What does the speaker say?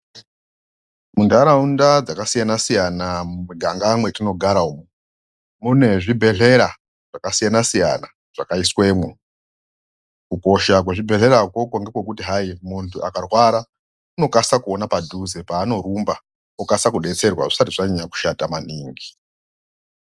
Mintataunda dzasiyana-siyna mumiganga mwetinogara umu mune zvibhedhleya zvakasiyna-siyana zvakaiswemwo kukosha kwezvibheshlera ukwokwo ngekwekuti hai muntu akarwara unokasa kuona padhuze paanorumba okasa kudetserwa zvisati zvanyanya kushata maningi.